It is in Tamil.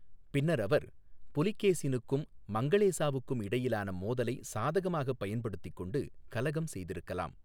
பின்னர் அவர், புலகேசினுக்கும் மங்களேசாவுக்கும் இடையிலான மோதலை சாதகமாகப் பயன்படுத்திக் கொண்டு கலகம் செய்திருக்கலாம்.